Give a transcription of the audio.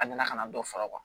A nana ka na dɔ faga